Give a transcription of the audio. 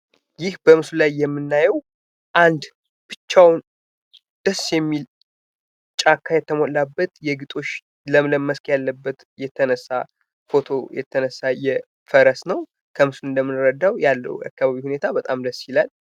ይህ በምስሉ ላይ የምናየው አንድ ብቻውን ደስ የሚል ጫካ የተሞላበት የግጦሽ ለምለም መስክ ያለበት የተነሳ ፎቶ የተነሳ ፈረስ ነው። ከምስሉ እንደምንረዳው ያለው የአካባቢው ሁኔታ በጣም ደስ ይላል።